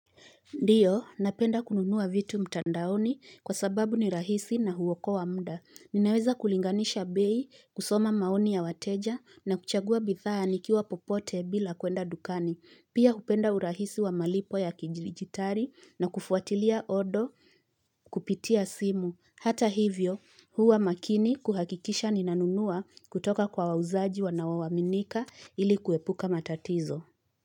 Ndiyo, napenda kununuwa vitu mtandaoni kwa sababu ni rahisi na huwokoa mda. Ninaweza kulinganisha bei, kusoma maoni ya wateja na kuchagua bithani kiwa popote bila kwenda dukani. Pia kupenda urahisi wa malipo ya kijilijitari na kufuatilia odo kupitia simu. Hata hivyo, huwa makini kuhakikisha ninanunuwa kutoka kwa wauzaji wa nawawaminika ili kuepuka matatizo.